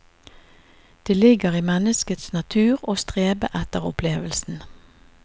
Det ligger i menneskets natur å strebe etter opplevelsen.